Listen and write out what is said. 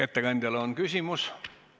Ettekandjale on küsimusi.